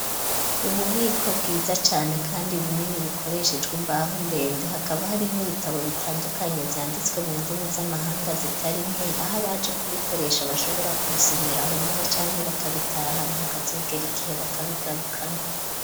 Ububiko bwiza cane kandi bunini bukoreshejwe imbaho ndende hakaba harimo ibitabo bitandukanye byanditswe mu ndimi z'amahanga zitari nke aho baje kubikoresha bashobora kubisomeraho nyine cyanke bakabitaha naakazogera igihe bakabigarukana.